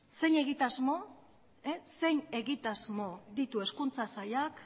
zein egitasmo ditu hezkuntza sailak